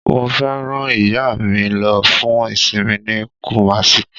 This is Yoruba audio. Mo fẹ́ rán ìyá mi lo fún ìsinmi ní Kumasi